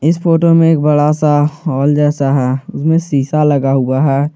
Photo में एक बड़ा सा हॉल जैसा है उसमें शीशा लगा हुआ है।